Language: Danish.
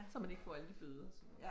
Så man ikke får alle de bøder og sådan noget